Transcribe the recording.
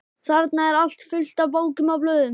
Þarna er allt fullt af bókum og blöðum.